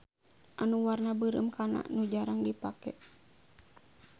Anu warna beureum kana nu jarang dipake.